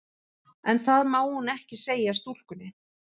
En það má hún ekki segja stúlkunni.